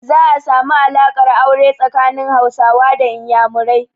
Za a samu alaƙar aure tsakanin Hausawa da Inyamurai.